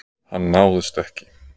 Hann náðist ekki.